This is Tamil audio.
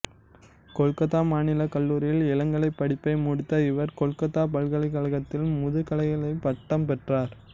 கொல்கத்தா மாநிலக் கல்லூரியில் இளங்கலை படிப்பை முடித்த இவர் கொல்கத்தா பல்கலைக்கழகத்தில் முதுகலைப் பட்டம் பெற்றார்